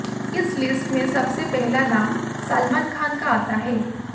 इस लिस्ट में सबसे पहला नाम सलमान खान का आता है